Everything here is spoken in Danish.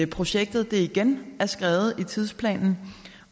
projektet igen er skredet i tidsplanen